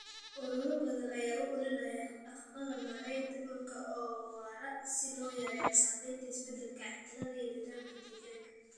Ururo badan ayaa u ololeeya hab-dhaqannada maaraynta dhulka oo waara si loo yareeyo saamaynta isbeddelka cimilada ee nidaamka deegaanka.